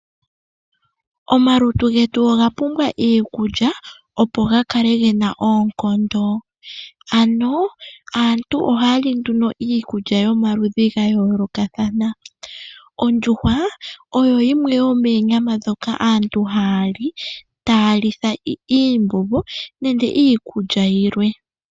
Omalutu getu oga pumbwa iikulya opo ga kale gena oonkondo, ano aantu ohaya li nduno iikulya yomaludhi ga yoolokathana. Oondjuhwa oyo yimwe yoomonyama ndhoka aantu haya li taya litha iimbombo nenge iikulya yilwe.